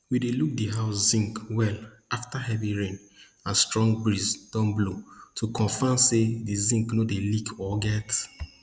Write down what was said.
we dey look di house zinc well afta heavy rain and strong breeze don blow to confam say di zinc no dey leak or get